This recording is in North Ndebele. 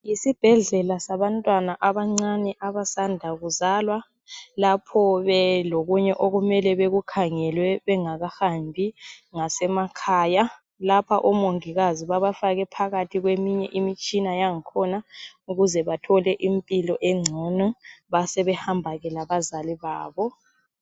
Yisibhedlela sabantwana abancane abasanda kuzalwa lapho belokunye okumele bekukhangelwe bengakahambi ngasemakhaya Lapha omongikazi babafake phakathi kweminye imitshina yankhona ukuze bethole impilo engcono basebehamba labazali babo